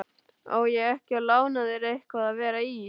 Á ég ekki að lána þér eitthvað að vera í?